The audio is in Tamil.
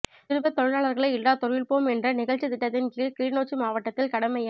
சிறுவர் தொழிலாளர்களை இல்லாதொழிப்போம் என்ற நிகழ்ச்சித் திட்டத்தின் கீழ் கிளிநொச்சி மாவட்டத்தில் கடமைய